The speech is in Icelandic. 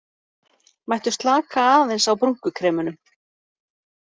Mættu slaka aðeins á brúnkukremunum